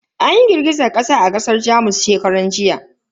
An yi girgizar kasa a kasar Jamus shekaran jiya.